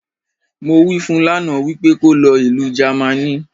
Mo wí fun lánàá, wípé kó lọ Ìlu Jámánì